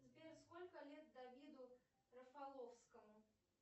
сбер сколько лет давиду рафаловскому